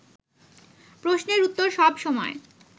প্রশ্নের উত্তর সব সময়